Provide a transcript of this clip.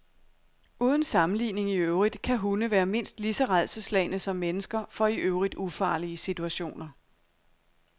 Uden sammenligning i øvrigt kan hunde være mindst lige så rædselsslagne som mennesker for i øvrigt ufarlige situationer.